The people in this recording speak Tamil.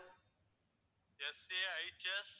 FJIGF